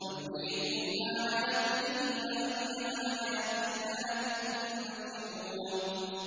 وَيُرِيكُمْ آيَاتِهِ فَأَيَّ آيَاتِ اللَّهِ تُنكِرُونَ